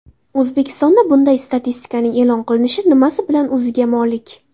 O‘zbekistonda bunday statistikaning e’lon qilinishi nimasi bilan o‘ziga molik?